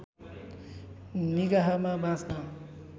निगाहमा बाँच्न